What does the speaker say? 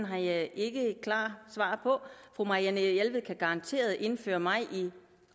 det har jeg ikke et klart svar på fru marianne jelved kan garanteret indføre mig i det